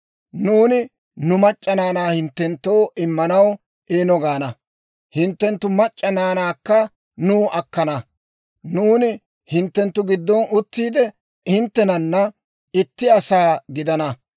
nuuni nu mac'c'a naanaa hinttenttoo immanaw ‹Eeno› gaana; hinttenttu mac'c'a naanaakka nuw akkana. Nuuni hinttenttu giddon uttiide, hinttenana itti asaa gidana.